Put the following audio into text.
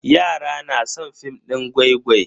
Yara na san film din gwai-gwai.